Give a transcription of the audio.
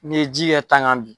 N'i ye ji kɛ tan kan bi.